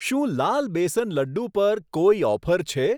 શું લાલ બેસન લડ્ડુ પર કોઈ ઓફર છે?